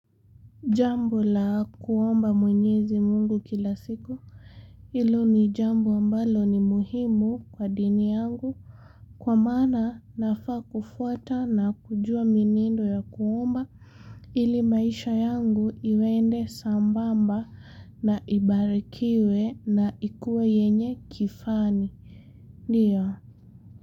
Jambi la kuomba mwenyezi mungu kila siku hilo ni jambo ambalo ni muhimu kwa dini yangu Kwa maana nafaa kufuata na kujua mienendo ya kuomba ili maisha yangu iende sambamba na ibarikiwe na ikuwe yenye kifani Ndiyo.